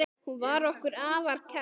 Hún var okkur afar kær.